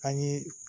An ye